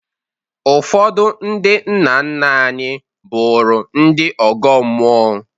Ụfọdụ ndị nna nna anyị bụrụ ndị ọgọ mmụọ